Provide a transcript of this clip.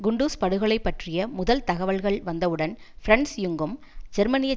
குண்டுஸ் படுகொலை பற்றிய முதல் தகவல்கள் வந்தவுடன் பிரன்ஸ் யுங்கும் ஜெர்மனிய